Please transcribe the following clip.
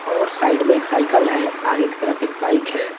और साइड में एक साइकिल है आगे की तरफ एक बाइक है।